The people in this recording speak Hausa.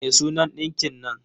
Me sunan ɗinkin nan?